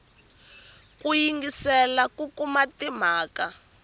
ku yingiselela ku kuma timhaka